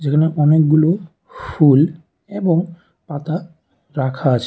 এখানে অনেকগুলো ফুল এবং পাতা রাখা আছে।